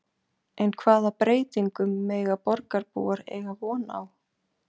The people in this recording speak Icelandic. En hvaða breytingum mega borgarbúar eiga von á?